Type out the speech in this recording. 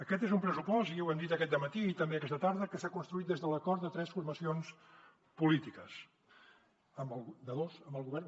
aquest és un pressupost i ja ho hem dit aquest dematí i també aquesta tarda que s’ha construït des de l’acord de tres formacions polítiques de dos amb el govern